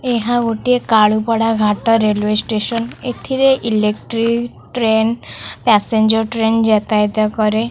ଏହା ଗୋଟିଏ Kalupada Ghat railway station. ଏଥିରେ ଏଲେକ୍ଟ୍ରି ଟ୍ରେନ୍ ପ୍ୟାସେଞ୍ଜର ଟ୍ରେନ ଯାତାୟତ କରେ।